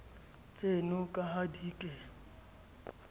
tseno ka ha di ke